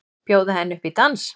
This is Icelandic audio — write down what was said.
Bjóða henni upp í dans!